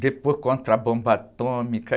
Depois contra a bomba atômica.